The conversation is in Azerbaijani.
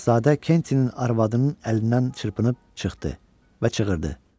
Şahzadə Kentinin arvadının əlindən çırpınıb çıxdı və çığırdı.